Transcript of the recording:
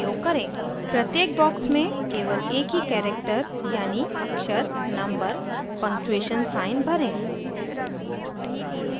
प्रत्येक box में केवल एक ही character यानि अक्षर/number/पंगक्चूएशन साइन भरें